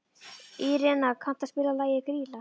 Írena, kanntu að spila lagið „Grýla“?